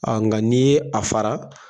nka n'i ye a fara